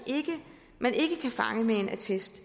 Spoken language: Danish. man ikke kan fange via en attest